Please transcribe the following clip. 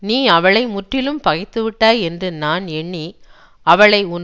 நீ அவளை முற்றிலும் பகைத்துவிட்டாய் என்று நான் எண்ணி அவளை உன்